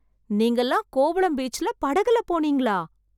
நீங்கல்லாம் கோவளம் பீச்ல படகுல போனீங்களா...